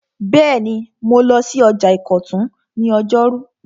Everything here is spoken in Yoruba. Bẹ́ẹ̀ni, mo lọ sí ọjà ìkọ̀tún ní ọjọ́rú